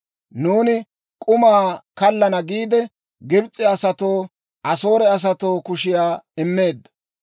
Nuuni k'uma kallana giide, Gibs'e asatoonne Asoore asatoo kushiyaa immeeddo.